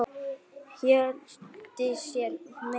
Hjördís sneri sér að Dóru.